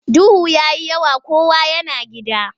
Duhu ya yi yawa kowa yana gida.